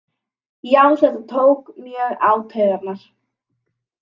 Já þetta tók mjög á taugarnar